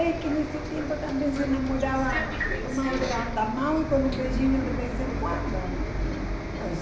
Mas é que nesse tempo também se namorava tomado de andar a mão e com um beijinho de vez em quando. Eh